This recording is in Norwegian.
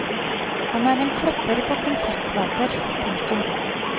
Han er en kløpper på konsertplater. punktum